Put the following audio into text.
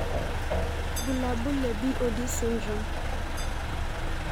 Bulabul le BOD syndrome.